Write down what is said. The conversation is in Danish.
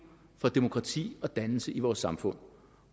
for demokrati og dannelse i vores samfund